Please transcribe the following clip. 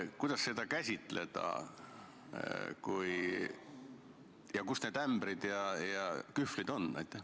Kuidas seda mõista ja kus need ämbrid ja kühvlid on?